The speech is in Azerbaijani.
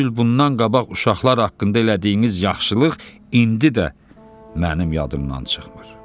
Üç il bundan qabaq uşaqlar haqqında elədiyiniz yaxşılıq indi də mənim yadımdan çıxmır.